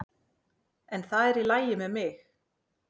En það er í lagi með mig.